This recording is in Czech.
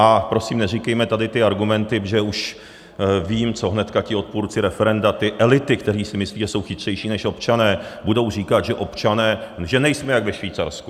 A prosím, neříkejme tady ty argumenty, protože už vím, co hnedka ti odpůrci referenda, ty elity, které si myslí, že jsou chytřejší než občané, budou říkat, že občané... že nejsme jako ve Švýcarsku.